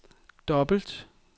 dobbelt